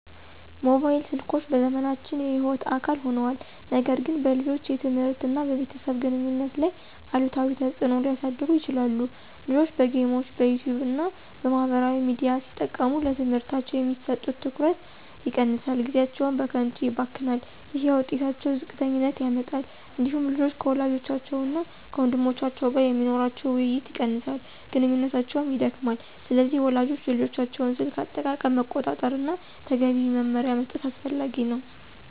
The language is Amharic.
ሞባይል ስልኮች በዘመናችን የሕይወት አካል ሆነዋል፣ ነገር ግን በልጆች የትምህርት እና በቤተሰብ ግንኙነት ላይ አሉታዊ ተጽዕኖ ሊያሳድሩ ይችላሉ። ልጆች በጌሞች፣ በYouTube እና በማህበራዊ ሚዲያ ሲጠመዱ ለትምህርታቸው የሚሰጡት ትኩረት ይቀንሳል፣ ጊዜያቸውም በከንቱ ይባክናል። ይህ የውጤታቸውን ዝቅተኛነት ያመጣል። እንዲሁም ልጆች ከወላጆቻቸው እና ከወንድሞቻቸው ጋር የሚኖራቸው ውይይት ይቀንሳል፣ ግንኙነታቸውም ይደክማል። ስለዚህ ወላጆች የልጆቻቸውን የስልክ አጠቃቀም መቆጣጠር እና ተገቢ መመሪያ መስጠት አስፈላጊ ነው።